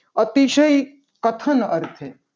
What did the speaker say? અતિશય કથન અર્થે